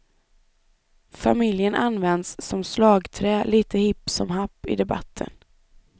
Familjen används som slagträ, lite hipp som happ, i debatten.